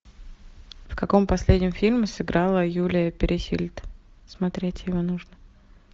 в каком последнем фильме сыграла юлия пересильд смотреть его нужно